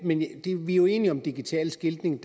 vi er jo enige om at digital skiltning